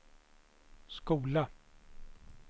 skola